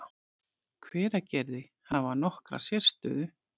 Hveragerði, hafa nokkra sérstöðu.